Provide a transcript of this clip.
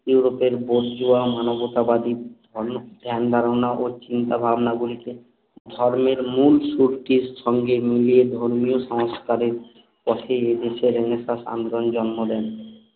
ইউরোপের বড় জুয়া মানবতাবাদী অন্য ধ্যান ধারণা ও চিন্তা ভাবনা গুলিকে ধর্মের মূল শক্তির সঙ্গে মিলিয়ে ধর্মীয় সংস্কারের পথে রেনেসাঁস আন্দোলন জন্ম দেন